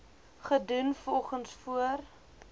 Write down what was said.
gedoen volgens voor